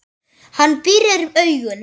Hann pírir augun.